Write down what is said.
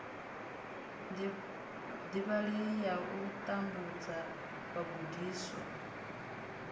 divhalei ya u tambudza vhagudiswa